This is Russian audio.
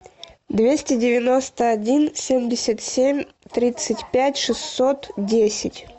двести девяносто один семьдесят семь тридцать пять шестьсот десять